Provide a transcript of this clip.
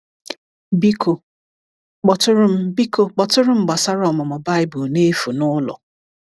Biko kpọtụrụ Biko kpọtụrụ m gbasara ọmụmụ Baịbụl n’efu n’ụlọ.